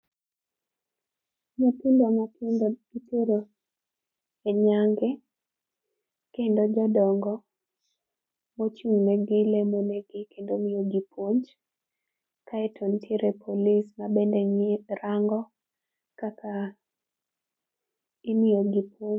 Nyithindo matindo itero e nyange, kendo jodongo mochung' negi lemo negi kendo miyogi puonj aeto nitiere police mabende rango kaka imiyogi puonj.